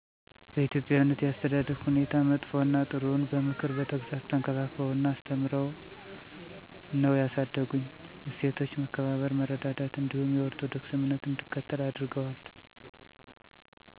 በኢትዮጵያዊነት የአተዳደግ ሁኔታ መጥፈ እና ጥሩውን በምክር በተግፃፅ ተንከባክበው እና አስተምርዉ ነው ያሳደጉኝ። እሴቶች መከባበር፥ መረዳዳት እንዲሁም የኦርቶዶክስ እምነት እንድከተል አድረገዋል